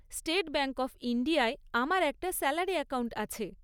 State Bank of ইণ্ডিয়ায় আমার একটা স্যালারি অ্যাকাউন্ট আছে।